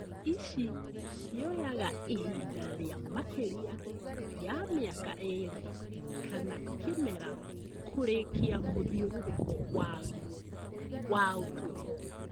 Ici cioyaga ihinda rĩa makĩria ya mĩaka ĩrĩ kana kĩmera kũrikia mũthiũrũrũko waguo wa ũtũro